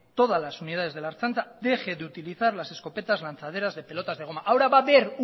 todas las unidades de la ertzaintza dejen de utilizar las escopetas lanzaderas de pelotas de goma ahora va a haber